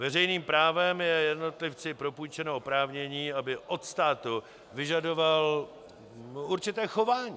Veřejným právem je jednotlivci propůjčeno oprávnění, aby od státu vyžadoval určité chování.